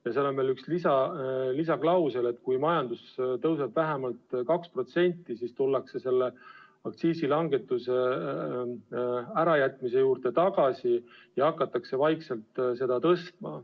Ja seal oli veel üks lisaklausel: kui majandus kasvab vähemalt 2%, siis tullakse vaikselt aktsiisilangetuse ärajätmise juurde ja hakatakse vaikselt aktsiisi tõstma.